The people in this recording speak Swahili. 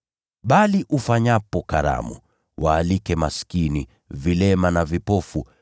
Bali ufanyapo karamu, waalike maskini, vilema na vipofu,